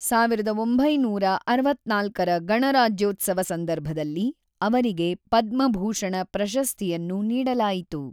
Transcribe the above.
೧೯೬೪ರ ಗಣರಾಜ್ಯೋತ್ಸವ ಸಂದರ್ಭದಲ್ಲಿ ಅವರಿಗೆ ಪದ್ಮಭೂಷಣ ಪ್ರಶಸ್ತಿಯನ್ನು ನೀಡಲಾಯಿತು.